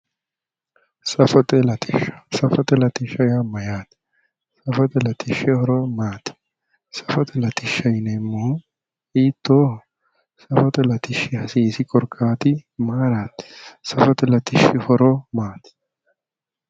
Safote latishsha, safote latishsha yaa mayyaate? safote latishshi horo maati safote latishsha yineemmohu hiittooho? safote latishshi hasiisi korkaati maayiiraati? safote latishshi horo maati?